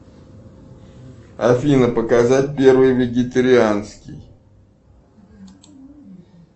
афина показать первый вегетарианский